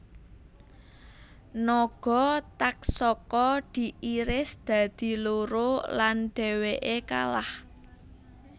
Naga Taksaka diiris dadi loro lan dheweke kalah